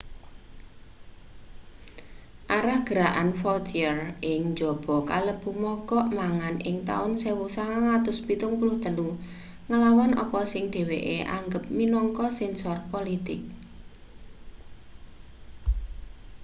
arah gerakan vautier ing njaba kalebu mogok mangan ing taun 1973 nglawan apa sing dheweke anggep minangka sensor politik